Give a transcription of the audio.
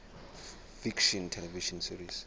fiction television series